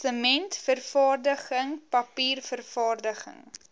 sementvervaardiging papier vervaardiging